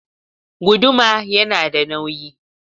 Guduma yana da nauyi.